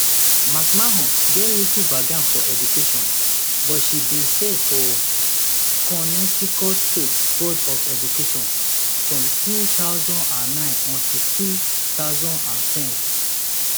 mcmahon get little background for education but she bin serve for connecticut state board of education from two thousand and nine until two thousand and ten